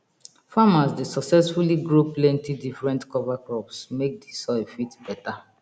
farmers dey sucessfully grow plenti different cover crops make di soil fit beta